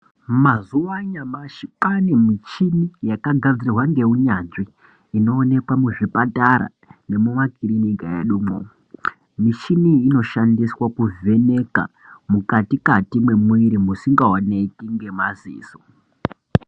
Mwazuwa anyamashi kwane mishini yakagadzirwa neunyanzvi inoonekwa muzvipatara nemumakirinika edumwo. Michini iyi inoshandiswa kuvheneka mukati Kati mwemwiri musingawonekwi nemadziso.